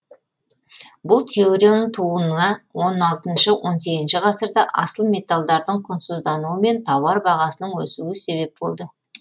бұл теорияның тууына он алтыншы он сегізінші ғасырда асыл металдардың құнсыздануы мен тауар бағасының өсуі себеп болды